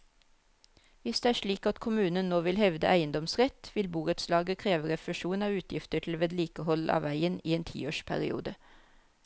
Hvis det er slik at kommunen nå vil hevde eiendomsrett, vil borettslaget kreve refusjon av utgifter til vedlikehold av veien i en tiårsperiode.